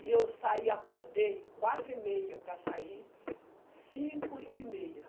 E eu saí, acordei, quatro e meia para sair, cinco e meia.